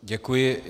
Děkuji.